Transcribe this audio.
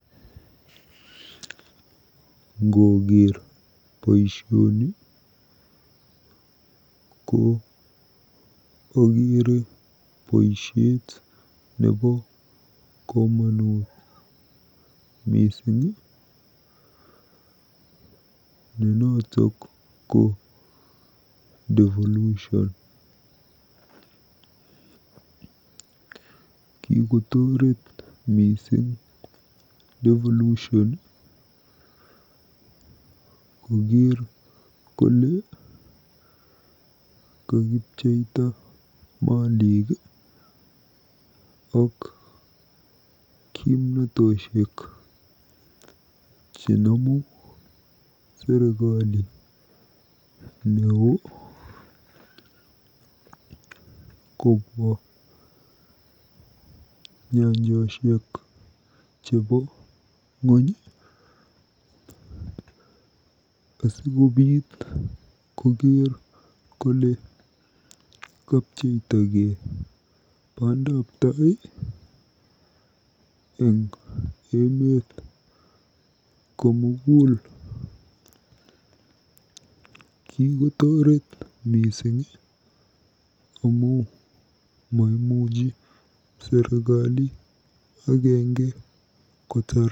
Ngookker boisioni ko ogeere boisiet nebo komonut mising ne notok ko Devolution. Kikotoret mising Devolution kokeer kole kakipcheita malik ak kimnatoshek chenomu serikali neoo kobwa nyanjoshek chebo ng'ony asikokeer kole kapcheptagei bandaptai eng emeeet komugul. Kikotoret amu maimuchi serikali agenge kotaar